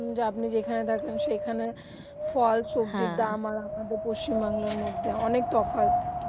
আপনি যেখানে থাকেন সেখানে ফল সবজির দাম আর আমাদের পশ্চিম বাংলার মধ্যে অনেক তফাৎ